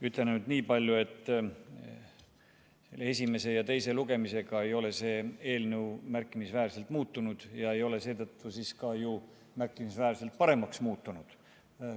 Ütlen ainult niipalju, et esimese ja teise lugemisega ei ole see eelnõu märkimisväärselt muutunud ega ole seetõttu ka märkimisväärselt paremaks muutunud.